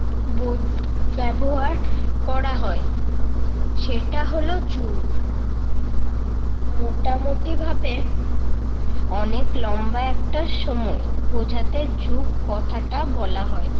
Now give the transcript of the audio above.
বোধ ব্যবহার করা হয। সেটা হলো যুগ। মোটামুটিভাবে অনেক লম্বা একটা সময় বুঝাতে যুগ কথাটা বলা হয়।